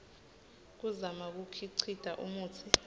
kuzama kukhicita umutsi